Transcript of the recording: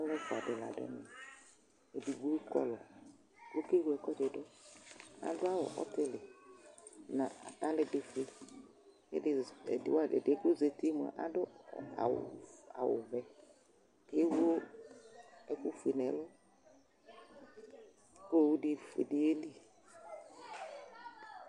Alu ɛfʋa di la adu ɛvɛ Edigbo kɔlʋ, okewle ɛkʋɛdɩ dʋ Adu awu ɔtɩlɩ nʋ atalɛgbɛfue, kʋ ɛdɩ yɛ kʋ ozǝti yɛ mʋa, adu awuvɛ, ewu ɛkʋfue nʋ ɛlʋ, kʋ owufue di bɩ yeli